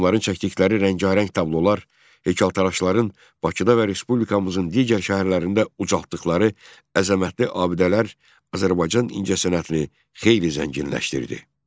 Rəssamların çəkdikləri rəngarəng tablolar, heykəltaraşların Bakıda və respublikamızın digər şəhərlərində ucaltdıqları əzəmətli abidələr Azərbaycan incəsənətli xeyli zənginləşdirdi.